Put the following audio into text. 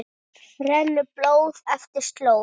rennur blóð eftir slóð